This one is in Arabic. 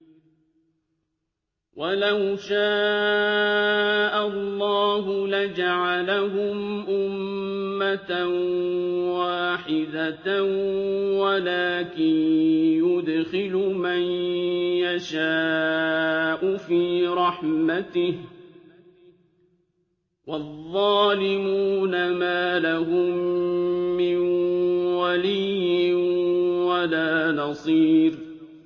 وَلَوْ شَاءَ اللَّهُ لَجَعَلَهُمْ أُمَّةً وَاحِدَةً وَلَٰكِن يُدْخِلُ مَن يَشَاءُ فِي رَحْمَتِهِ ۚ وَالظَّالِمُونَ مَا لَهُم مِّن وَلِيٍّ وَلَا نَصِيرٍ